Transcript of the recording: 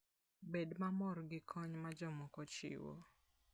Bed mamor gi kony ma jomoko chiwo.